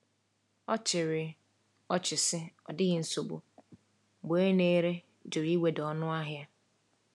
Ọ chịrị ọchị sị, “Ọ dịghị nsogbu,” mgbe onye na-ere jụrụ iweda ọnụahịa.